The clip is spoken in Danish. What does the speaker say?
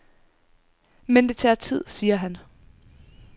Men det tager tid, siger han.